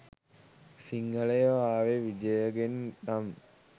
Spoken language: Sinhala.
සිංහලයෝ ආවේ විජයගෙන් නම්